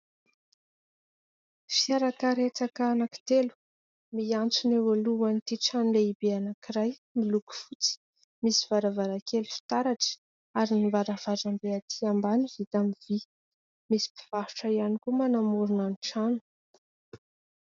Fiarakaretsaka anankitelo miantsona eo alohan'ity trano lehibe anankiray, miloko fotsy, misy varavarankely fitaratra ary ny varavarambe aty ambany vita amin'ny vy ; misy mpivarotra ihany koa manamorona ny trano.